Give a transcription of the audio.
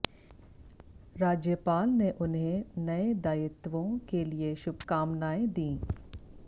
राज्यपाल ने उन्हें नये दायित्वों के लिए शुभकामनाएं दी